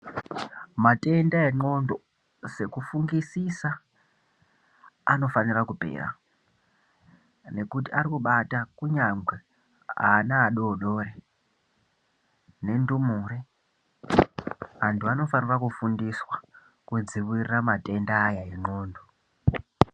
Matenda enxondo sekufungusisa anofanira kupera nekuti arikubata kunyangwe ana adodori nendumure. Antu anofanira kufundiswa kudzivirira matenda aya nenxondo.